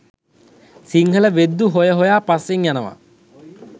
සිංහල වෙද්දු හොය හොයා පස්සෙන් යනවා